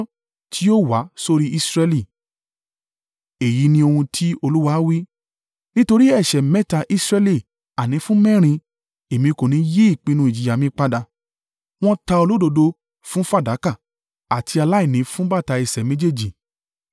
Èyí ni ohun tí Olúwa wí: “Nítorí ẹ̀ṣẹ̀ mẹ́ta Israẹli àní fún mẹ́rin, Èmi kò ní yí ìpinnu ìjìyà mi padà. Wọ́n ta olódodo fún fàdákà àti aláìní fún bàtà ẹsẹ̀ méjèèjì.